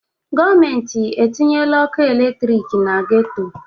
Gọọmenti etinyeela ọkụ eletriki na geto?